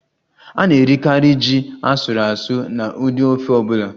A na-erikarị ji asuru asu na ụdị ofe ọ bụla